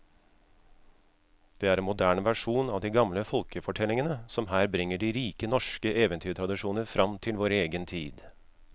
Det er en moderne versjon av de gamle folkefortellingene som her bringer de rike norske eventyrtradisjoner fram til vår egen tid.